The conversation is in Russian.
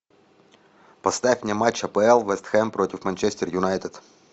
поставь мне матч апл вест хэм против манчестер юнайтед